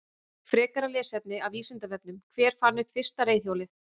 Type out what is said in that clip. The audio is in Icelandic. Frekara lesefni af Vísindavefnum: Hver fann upp fyrsta reiðhjólið?